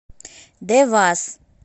девас